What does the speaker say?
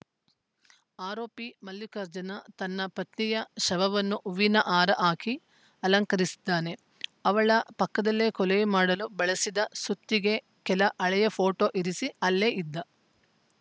ಆರೋಪಿ ಮಲ್ಲಿಕಾರ್ಜುನ ತನ್ನ ಪತ್ನಿಯ ಶವವನ್ನು ಹೂವಿನ ಹಾರ ಹಾಕಿ ಅಲಂಕರಿಸಿದ್ದಾನೆ ಅವಳ ಪಕ್ಕದಲ್ಲಿ ಕೊಲೆ ಮಾಡಲು ಬಳಸಿದ ಸುತ್ತಿಗೆ ಕೆಲ ಹಳೆಯ ಫೋಟೋ ಇರಿಸಿ ಅಲ್ಲೇ ಇದ್ದ